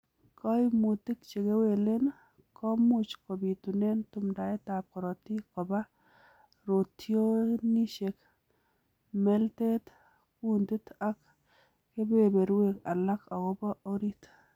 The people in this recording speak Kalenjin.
Koimutik chekewelen komuch kobitunen tumdaetab korotik koba rotiosiniek, meltet, kuntit, ak kebererwek alak agobo orit.